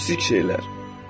Kiçik şeylər.